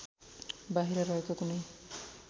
बाहिर रहेका कुनै